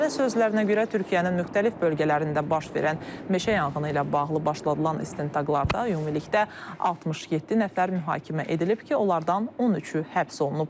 Nazirə sözlərinə görə Türkiyənin müxtəlif bölgələrində baş verən meşə yanğını ilə bağlı başladılan istintaqlarda ümumilikdə 67 nəfər mühakimə edilib ki, onlardan 13-ü həbs olunub.